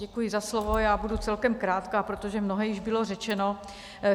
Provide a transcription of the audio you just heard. Děkuji za slovo, já budu celkem krátká, protože mnohé již bylo řečeno.